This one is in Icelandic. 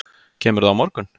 Kemurðu á morgun?